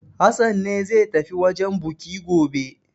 Hassan ne zai tafi wajen buki gobe.